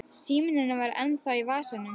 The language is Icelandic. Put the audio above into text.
Síminn hennar var ennþá í vasanum.